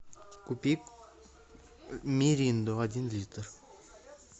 купи миринду один литр